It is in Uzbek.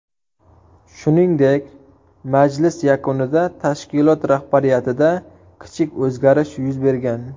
Shuningdek, majlis yakunida tashkilot rahbariyatida kichik o‘zgarish yuz bergan.